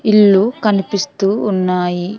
ఇల్లు కనిపిస్తూ ఉన్నాయి.